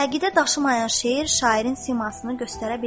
Əqidə daşımayan şeir şairin simasını göstərə bilməz.